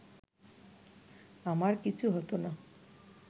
আমার কিছু হতো না